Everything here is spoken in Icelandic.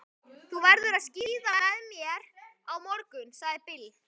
Þú verður að skíða með mér á morgun, sagði Bill.